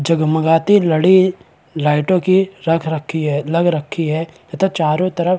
जगमगाती लड़ी लाइटों की रख रखी है लग रखी है तथा चारों तरफ --